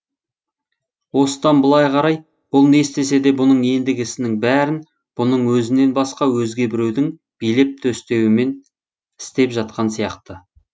осыдан былай қарай бұл не істесе де бұның ендігі ісінің бәрін бұның өзінен басқа өзге біреудің билеп төстеуімен істеп жатқан сияқты